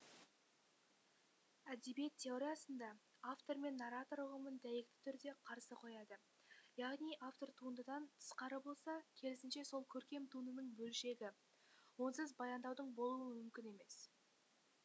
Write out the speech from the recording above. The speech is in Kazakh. әдебиет теориясында автор мен нарратор ұғымын дәйекті түрде қарсы қояды яғни автор туындыдан тысқары болса керісінше сол көркем туындының бөлшегі онсыз баяндаудың болуы мүмкін емес